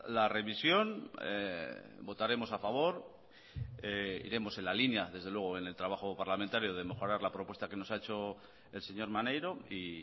la revisión votaremos a favor iremos en la línea desde luego en el trabajo parlamentario de mejorar la propuesta que nos ha hecho el señor maneiro y